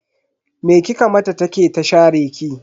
Me kika mata ta ke ta share ki?